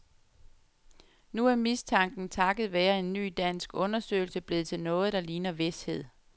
Nu er mistanken takket være en ny dansk undersøgelse blevet til noget, der ligner vished.